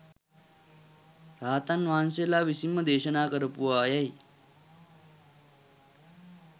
රහතන් වහන්සේලා විසින්ම දේශනා කරපුවා යැයි